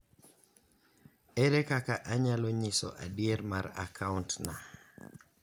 Ere kaka anyalo nyiso adier mar akaunt na?